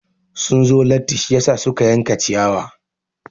Sun zo latti shiyasa suke yanka ciyawa.